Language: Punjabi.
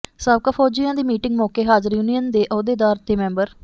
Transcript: ਸਾਬਕਾ ਫੌਜੀਆਂ ਦੀ ਮੀਟਿੰਗ ਮੌਕੇ ਹਾਜ਼ਰ ਯੂਨੀਅਨ ਦੇ ਅਹੁਦੇਦਾਰ ਤੇ ਮੈਂਬਰ